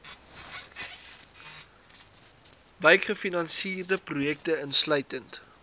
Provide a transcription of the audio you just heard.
wykgefinansierde projekte insluitend